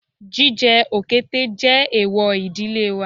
Jíjẹ òkété jẹ́ èwò ìdílé wa